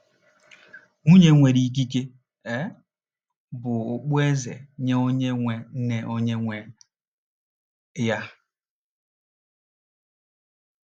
“Nwunye nwere ikike um bụ okpueze nye onye nwe nye onye nwe ya”